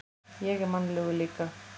Ég er mannlegur líka.